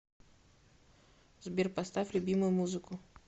сбер поставь любимую музыку